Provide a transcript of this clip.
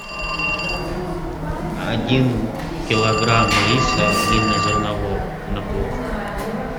один килограмм риса длиннозернового на плов